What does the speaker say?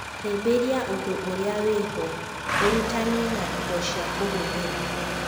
Hĩmbĩria ũndũ ũrĩa wĩho, ũrutani na indo cia kũhũthĩra.